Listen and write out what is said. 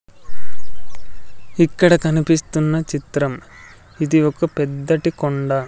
ఇక్కడ కనిపిస్తున్న చిత్రం ఇది ఒక పెద్దటీ కొండ.